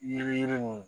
Yiri yirini